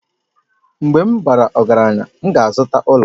Mgbe m bara ọgaranya, m ga-azụta ụlọ